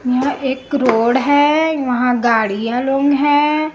यह एक रोड है वहां गाड़ियां लोग हैं।